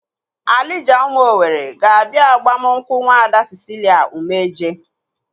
Alija ụmụ Owere ga-abia agbamnkwu Nwaada Cicilia Umeje.